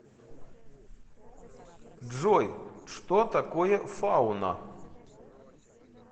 джой что такое фауна